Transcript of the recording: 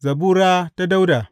Zabura ta Dawuda.